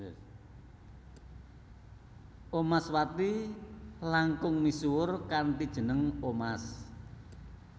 Omaswati langkung misuwur kanthi jeneng Omas